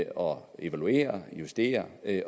og evaluerer justerer